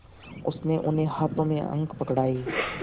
उसने उन्हें हाथों में अंक पकड़ाए